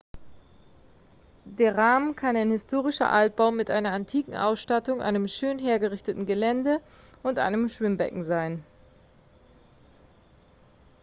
der rahmen kann ein historischer altbau mit einer antiken austattung einem schön hergerichteten gelände und einem schwimmbecken sein